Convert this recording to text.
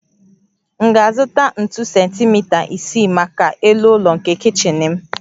M ga-azụta ntu sentimita isii maka elu ụlọ nke kichin m